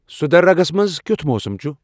سدھدرگس منز کِیُتھ موسم چُھ ؟